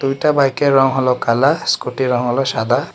দুইটা বাইক এর রং হল কালা স্কুটি এর রং হল সাদা।